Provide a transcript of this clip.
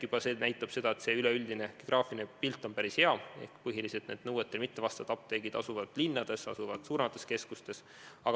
Juba see näitab, et üleüldine geograafiline pilt on päris hea ehk et põhiliselt asuvad nõuetele mittevastavad apteegid linnades, suuremates keskustes.